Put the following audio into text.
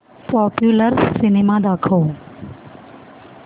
popular cinema दाखव